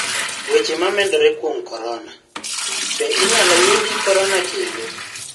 Weche momedore kuom corona: Be inyalo yudi corona kendo?